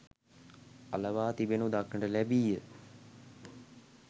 අලවා තිබෙනු දක්නට ලැබීය